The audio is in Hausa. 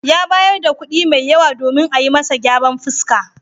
Ya bayar da kuɗi mai yawa domin ayi masa gyaran fuska.